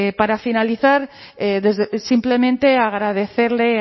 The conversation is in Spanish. para finalizar simplemente agradecerle